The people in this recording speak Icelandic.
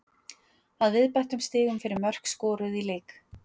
Að viðbættum stigum fyrir mörk skoruð í leik.